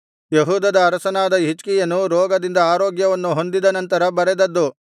ಯೆಹೂದದ ಅರಸನಾದ ಹಿಜ್ಕೀಯನು ರೋಗದಿಂದ ಆರೋಗ್ಯವನ್ನು ಹೊಂದಿದ ನಂತರ ಬರೆದದ್ದು